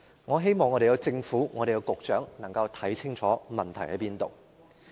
我希望政府和局長能夠看清楚問題所在。